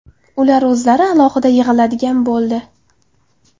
Ular o‘zlari alohida yig‘iladigan bo‘ldi.